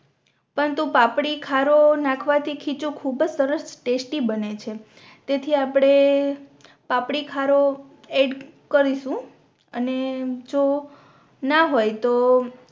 પણ તો પાપડી ખારો નાખવા થી ખીચું ખૂબ જ સરસ ટેસ્ટિ બને છે તેથી આપણે પાપડી ખારો એડ કરીશુ અને જો ના હોય તો